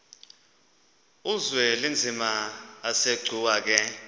uzwelinzima asegcuwa ke